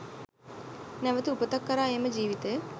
නැවත උපතක් කරා එම ජීවිතය